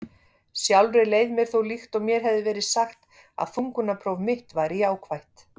Sjálfri leið mér þó líkt og mér hefði verið sagt að þungunarpróf mitt væri jákvætt.